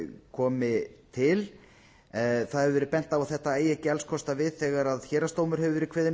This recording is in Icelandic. komi til það hefur verið bent á að þetta eigi ekki alls kostar við þegar héraðsdómur hefur verið kveðinn upp